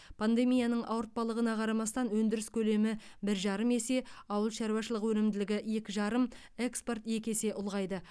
пандемияның ауыртпалығына қарамастан өндіріс көлемі бір жарым есе ауыл шаруашылығының өнімділігі екі жарым экспорт екі есе ұлғайды